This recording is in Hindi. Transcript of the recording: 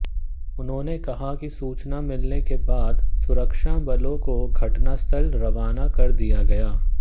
उन्होंने कहा कि सूचना मिलने के बाद सुरक्षा बलों को घटनास्थल रवाना कर दिया गया